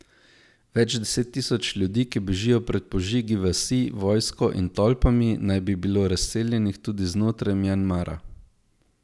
Več deset tisoč ljudi, ki bežijo pred požigi vasi, vojsko in tolpami, naj bi bilo razseljenih tudi znotraj Mjanmara.